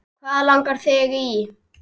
Hvað langar þig í!